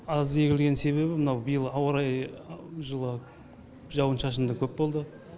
аз егілген себебі мынау биыл ауа райы жылы жауын шашын да көп болды